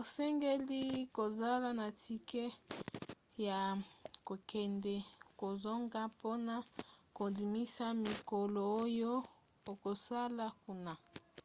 osengeli kozala na tike ya kokende/kozonga mpona kondimisa mikolo oyo okosala kuna